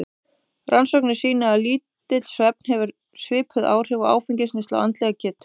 Rannsóknir sýna að lítill svefn hefur svipuð áhrif og áfengisneysla á andlega getu.